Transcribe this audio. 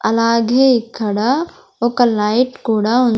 అలాగే ఇక్కడ ఒక లైట్ కూడా ఉన్ --